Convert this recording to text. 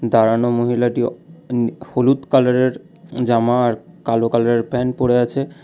দাঁড়ানো মহিলাটি হলুদ কালারের জামা আর কালো কালারের প্যান্ট পড়ে আছে।